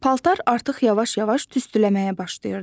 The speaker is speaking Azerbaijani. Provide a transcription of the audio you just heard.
Paltar artıq yavaş-yavaş tüstüləməyə başlayırdı.